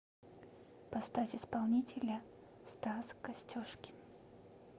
поставь исполнителя стас костюшкин